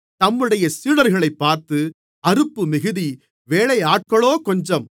தம்முடைய சீடர்களைப் பார்த்து அறுப்பு மிகுதி வேலையாட்களோ கொஞ்சம்